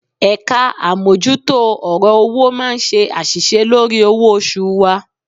Ẹ̀ka àmójútó ọ̀rọ̀ owó máa ń ṣe àṣìṣe lórí owó oṣù wa